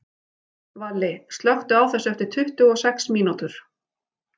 Valli, slökktu á þessu eftir tuttugu og sex mínútur.